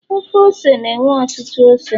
Ofe ose na enwe ọtụtụ ose